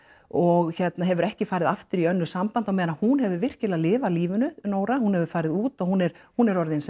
og hefur ekki farið aftur í annað samband á meðan að hún hefur virkilega lifað lífinu Nóra hún hefur farið út og hún er hún er orðin